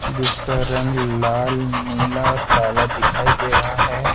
जिसका रंग लाल नीला और काला दिखाई दे रहा है।